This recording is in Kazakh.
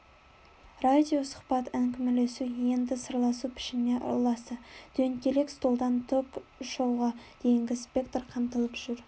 радио сұхбат әңгімелесу енді сырласу пішініне ұласты дөңгелек столдан ток-шоуға дейінгі спектр қамтылып жүр